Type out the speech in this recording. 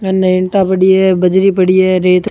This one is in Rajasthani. इने ईटा पड़ी है बजरी पड़ी है रेत --